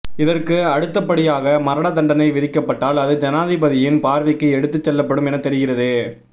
இதற்கு அடுத்தப்படியாக மரண தண்டனை விதிக்கப்பட்டால் அது ஜனாதிபதியின் பார்வைக்கு எடுத்து செல்லப்படும் என தெரிகிறது